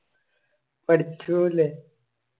പഠിച്ചു പോയിലെ